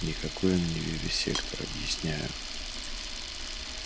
никакой он не вивисектор объясняю